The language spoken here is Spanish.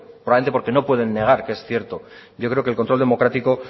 probablemente porque no pueden negar que es cierto yo creo que el control democrático